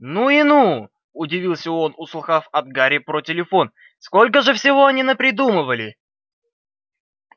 ну и ну удивился он услыхав от гарри про телефон сколько же всего они напридумывали